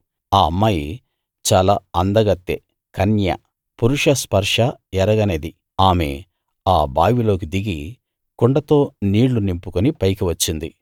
ఆ అమ్మాయి చాలా అందకత్తె కన్య పురుష స్పర్శ ఎరగనిది ఆమె ఆ బావిలోకి దిగి కుండతో నీళ్ళు నింపుకుని పైకి వచ్చింది